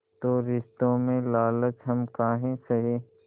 तो रिश्तों में लालच हम काहे सहे